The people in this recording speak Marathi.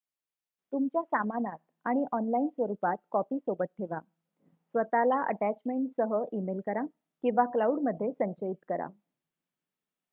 "तुमच्या सामानात आणि ऑनलाइन स्वरुपात कॉपी सोबत ठेवा स्वत:ला अटॅचमेंटसह ईमेल करा किंवा "क्लाउड""मध्ये संचयित करा"".